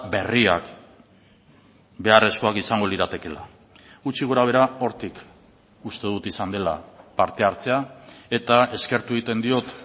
berriak beharrezkoak izango liratekeela gutxi gorabehera hortik uste dut izan dela parte hartzea eta eskertu egiten diot